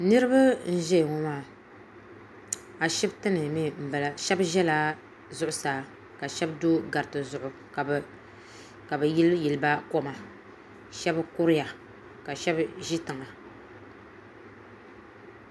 Niriba n ʒɛya ŋɔ maa ashiptini mee m bala sheba ʒɛla zuɣusaa ka sheba do gariti zuɣu ka bɛ yili yili ba koma sheba kuriya ka sheba ʒi tiŋa.